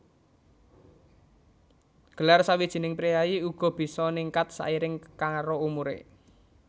Gelar sawijining priyayi uga bisa ningkat sairing karo umuré